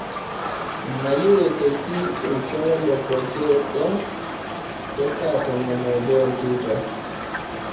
mayieu aitoki oltuala lepooki olong e saatomon oobo enteipa